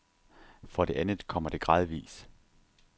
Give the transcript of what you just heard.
For det andet kommer det gradvis.